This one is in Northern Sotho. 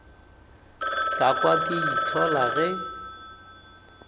ka kwa ke itshola ge